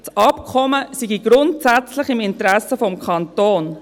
Das Abkommen sei grundsätzlich im Interesse des Kantons.